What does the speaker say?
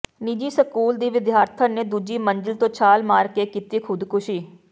ਨਿੱਜੀ ਸਕੂਲ ਦੀ ਵਿਦਿਆਰਥਣ ਨੇ ਦੂਜੀ ਮੰਜ਼ਿਲ ਤੋਂ ਛਾਲ ਮਾਰ ਕੇ ਕੀਤੀ ਖ਼ੁਦਕੁਸ਼ੀ